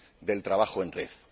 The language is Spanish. del trabajo en red.